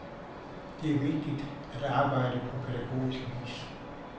Det er vigtigt at arbejde på pædagogisk vis.